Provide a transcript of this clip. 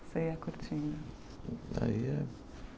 Você ia curtindo. Aí ia